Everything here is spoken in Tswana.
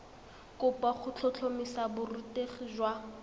kopo go tlhotlhomisa borutegi jwa